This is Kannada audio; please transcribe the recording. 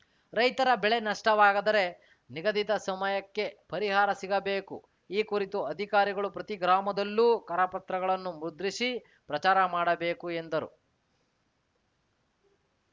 ರೈತರ ಬೆಳೆ ನಷ್ಟವಾದರೆ ನಿಗಧಿತ ಸಮಯಕ್ಕೆ ಪರಿಹಾರ ಸಿಗಬೇಕು ಈ ಕುರಿತು ಅಧಿಕಾರಿಗಳು ಪ್ರತಿ ಗ್ರಾಮದಲ್ಲೂ ಕರಪತ್ರಗಳನ್ನು ಮುದ್ರಿಸಿ ಪ್ರಚಾರ ಮಾಡಬೇಕು ಎಂದರು